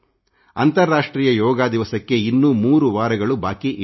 ಅಂತಾರಾಷ್ಟ್ರೀಯ ಯೋಗ ದಿವಸಕ್ಕೆ ಇನ್ನೂ 3 ವಾರಗಳು ಬಾಕಿ ಇವೆ